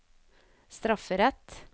strafferett